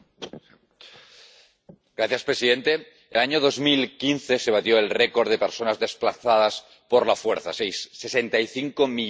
Señor presidente, en el año 2015 se batió el récord de personas desplazadas por la fuerza 65 millones en todo el mundo.